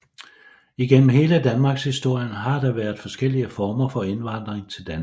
Igennem hele Danmarkshistorien har der været forskellige former for indvandring til Danmark